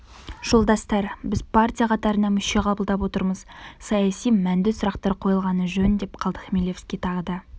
жолдастар біз партия қатарына мүше қабылдап отырмыз саяси-мәнді сұрақтар қойылғаны жөн деп қалды хмелевский тағы да